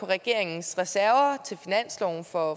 regeringens reserver til finansloven for